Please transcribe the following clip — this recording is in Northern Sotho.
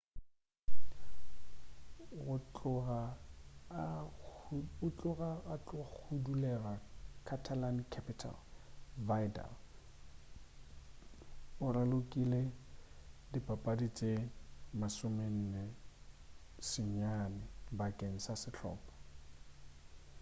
go tloga a hudugela catalan-capital vidal o ralokile dipapadi tše 49 bakeng sa sehlopa